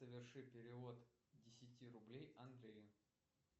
соверши перевод десяти рублей андрею